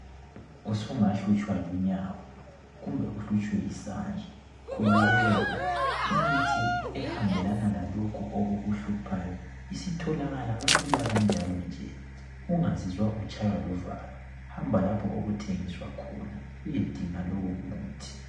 Usungahlutshwa lunyawo kumbe uhlutshwe yisandla! Khululeka! Imithi ehambelana lalokhu okukuhluphayo isitholakala kalula kanjalo nje. Ungazizwa utshaywa luvalo. Hamba lapho okuthengiswa khona, uyedinga lowo muthi.